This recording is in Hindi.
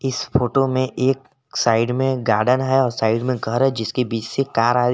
इस फोटो में एक साइड में गार्डन है और साइड में घर है जिसके बीच से कार आ रही है।